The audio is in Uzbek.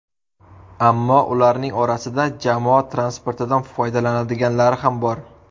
Ammo ularning orasida jamoat transportidan foydalanadiganlari ham bor.